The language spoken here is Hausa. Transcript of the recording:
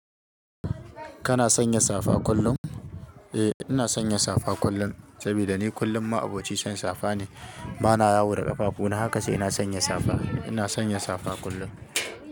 Kana sanya safa kullum? Eh, ina sanya safa kullum, saboda ni kullum ma'aboci son safa ne. Ba na yawo da ƙafafu na, haka sai na sanya safa. Ina sanya safa kullum.